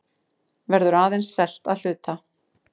Verður aðeins selt að hluta